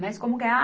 Mas como que é?